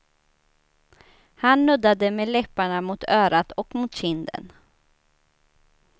Han nuddade med läpparna mot örat och mot kinden.